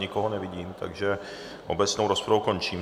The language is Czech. Nikoho nevidím, takže obecnou rozpravu končím.